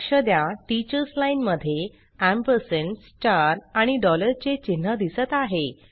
लक्ष द्या teachers line मध्ये आणि चे चिन्ह दिसत आहे